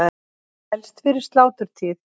Helst fyrir sláturtíð.